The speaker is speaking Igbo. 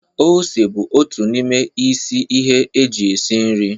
Ose bụ otu n'ime isi ihe eji esi nri.